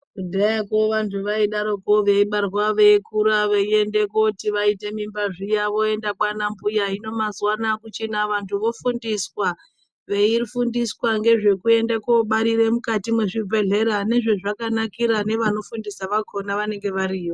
Kudhayako vantu vaidaroko veibarwa veikura veiende koti vaite mimba zviya voenda kwana mbuya hino mazuwano akuchina vantu vofundiswa, veifundiswa ngezvekuende kobarire mukati mwezvibhedhlera nezvazvakanakira nevanofundisa vakona vanenge variyo.